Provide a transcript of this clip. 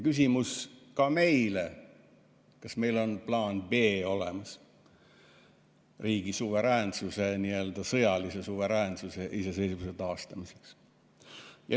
Küsimus ka meile: kas meil on olemas plaan B riigi suveräänsuse, nii-öelda sõjalise suveräänsuse ja iseseisvuse taastamiseks?